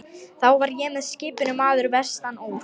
Þá var og með skipinu maður vestan úr